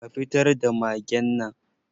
Ka fitar da magen nan!